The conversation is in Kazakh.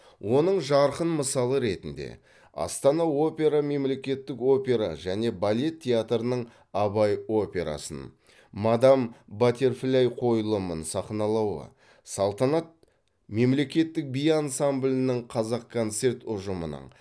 оның жарқын мысалы ретінде астана опера мемлекеттік опера және балет театрының абай операсын мадам баттерфляй қойылымын сахналауы салтанат мемлекеттік би ансамблінің қазақконцерт ұжымының